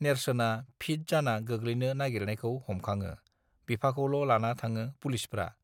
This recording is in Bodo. नेर्सोना फिथ जाना गोग्लैनो नागिरनायखौ हमखाङो बिफाखौल लाना थाङो पुलिसफ्रा